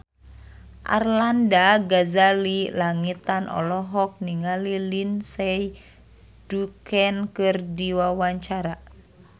Arlanda Ghazali Langitan olohok ningali Lindsay Ducan keur diwawancara